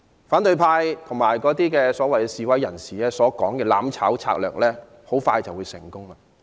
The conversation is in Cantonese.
反對派和所謂示威人士所說的"攬炒"策略很快便會成功。